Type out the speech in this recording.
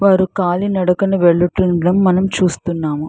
వారు కాళీ నడకన వెళుతుండం మనం చూస్తున్నాము.